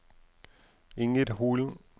Inger Holen